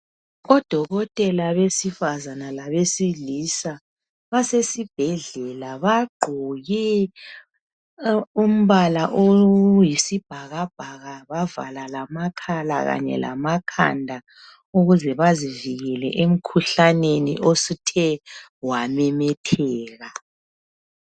Odokotela besifazana labesilisa basesibhedlela bagqoke umbala oyisibhakabhaka bavala lamakhala kanye lamakhanda ukuze bavikele emkhuhlaneni osuthe wamemetheka